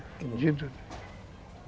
Entendido?